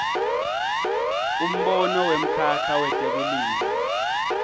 umbono wemkhakha wetekulima